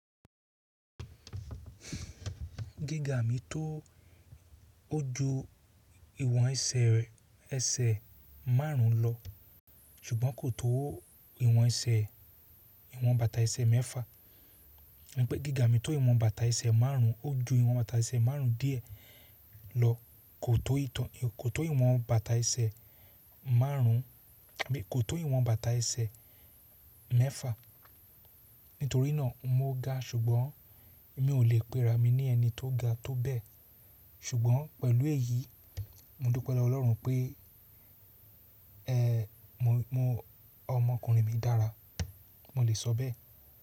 Gíga mi tó, ó ju ìwọn ẹsẹ̀, ẹsẹ̀ márùn ún lọ, ṣùgbọ́n kò tó ìwọn ẹsẹ̀, ìwọn bàtà ẹsẹ̀ mẹ́fà. Mo pẹ́ gíga mi tó ìwọn bàtà ẹsẹ̀ márùn ún, ó ju ìwọn bàtà ẹsẹ̀ márùn ún díẹ̀ lọ, kò tó ìtàn, kò tó ìwọn bàtà ẹsẹ̀ márùn ún, àbí kò tó ìwọn bàtà ẹsẹ̀ mẹ́fà. Nítorí náà mó ga, ṣùgbọ́n mi ò lè pera, mi ní ẹni tó ga tó bẹ́ẹ̀. Ṣùgbọ́n pẹ̀lú èyí, mo dúpẹ́ lọ́wo Ọlọ́run pé, mo, ọmọkùnrin mi dára, mo lè sọ bẹ́ẹ̀.